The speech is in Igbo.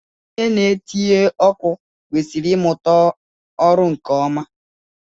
Onye na-etinye ọkụ kwesịrị imuta ọrụ nke ọma